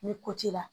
Ni ko t'i la